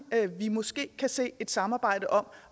vi måske kan se et samarbejde om